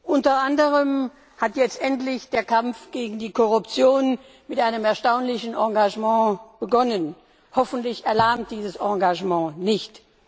Unter anderem hat jetzt endlich der Kampf gegen die Korruption mit einem erstaunlichen Engagement begonnen. Hoffentlich erlahmt dieses Engagement nicht.